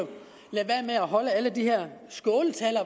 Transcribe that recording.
lade være med at holde alle de her skåltaler